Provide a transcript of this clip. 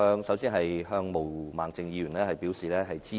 首先，我對毛孟靜議員的議案表示支持。